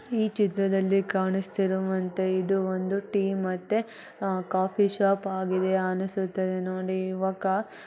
ಈ ಚಿತ್ರದಲ್ಲಿ ಕಾಣಿಸ್ತುರಾವಂತೆ ಇದು ಒಂದು ಟೀ ಮತ್ತೆ ಕಾಫಿ ಶಾಪ್ ಆಗಿದೆ ಅನಿಸ್ತುತದೆ ನೋಡಿ ಯುವಕ --